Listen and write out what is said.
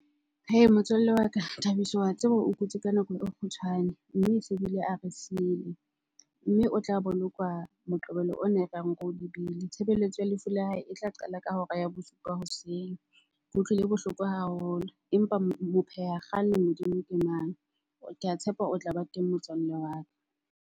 Hee motswalle wa ka, Thabiso wa tseba o kutse ka nako e kgutshwane mme e se bile a re siile, mme o tla bolokwa Moqebelo ona e reyang re o lebile. Tshebeletso ya lefu la hae e tla qala ka hora ya bosupa hoseng. Ke utlwile bohloko haholo empa mo pheha kgale modimo ke mang? Ke a tshepa o tla ba teng motswalle wa ka.